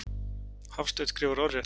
Hafstein skrifar orðrétt.